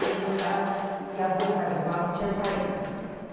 Cheguei tarde e a rua Itajubá não tinha saída.